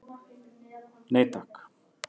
Nei takk.